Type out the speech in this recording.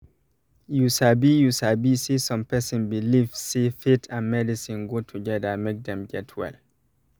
you sabi you sabi saysome person believe say faith and medicine go together make dem get well.